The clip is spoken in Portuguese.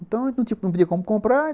Então, não tinha como comprar.